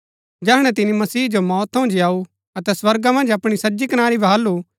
जैहणै तिनी मसीह जो मौत थऊँ जीयाऊ अतै स्वर्गा मन्ज अपणी सज्जी कनारी बहालु